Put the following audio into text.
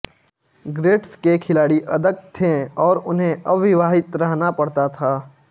grades के खिलाड़ी अदत्त थे और उन्हें अविवाहित रहना पड़ता था